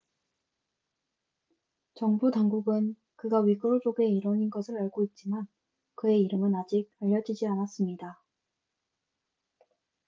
정부 당국은 그가 위구르족의 일원인 것을 알고 있지만 그의 이름은 아직 알려지지 않았습니다